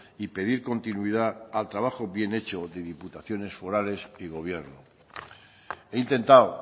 y pedir continuidad al trabajo bien hecho de diputaciones forales y gobierno he intentado